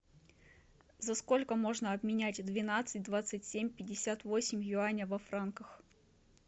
за сколько можно обменять двенадцать двадцать семь пятьдесят восемь юаня во франках